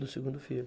Do segundo filho.